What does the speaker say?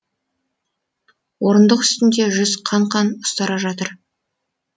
орындық үстінде жүзі қан қан ұстара жатыр